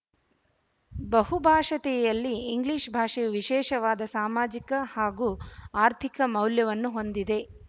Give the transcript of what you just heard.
ಬಹುಭಾಶೀಯತೆಯಲ್ಲಿ English ಭಾಷೆಯು ವಿಶೇಷವಾದ ಸಾಮಾಜಿಕ ಹಾಗೂ ಆರ್ಥಿಕ ಮೌಲ್ಯವನ್ನು ಹೊಂದಿದೆ